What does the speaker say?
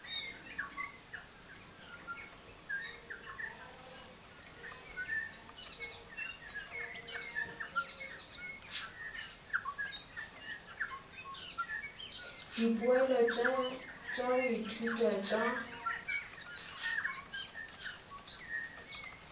dipoelo tša go ithuta tša